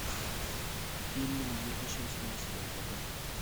фильмы две тысячи восемнадцатого года